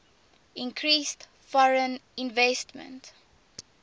increased foreign investment